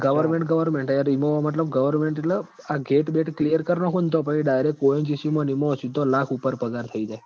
Government Government હ યાર ઈમ મતલબ Government એટલ આ GATE clear કર નાંખું તો પહી direct ONGC માં ન ઈમાં સીધો લાખ ઉપર પગાર જાય